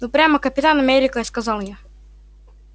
ну прямо капитан америка сказал я